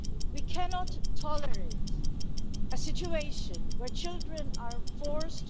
We cannot tolerate a situation where children are forced...